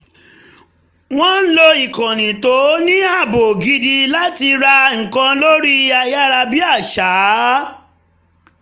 wọ́n lo ikànnì tó ní ààbò gidi láti rà nǹkan lórí ayárabíàṣá